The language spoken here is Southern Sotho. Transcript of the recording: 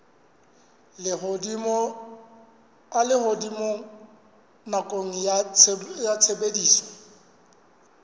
a lehodimo nakong ya tshebediso